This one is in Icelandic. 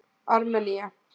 Armenía